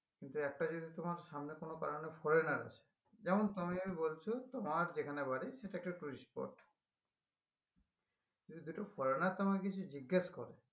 কিন্তু একটা যদি তোমার সামনে কোনো কারণে foreigner আসে যেমন তুমি বলছো তোমার যেখানে বাড়ি সেটা একটা tourist spot যদি দুটো foreigner তোমাকে এসে জিজ্ঞেস করে